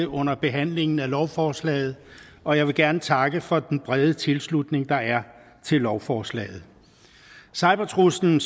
under behandlingen af lovforslaget og jeg vil gerne takke for den brede tilslutning der er til lovforslaget cybertruslen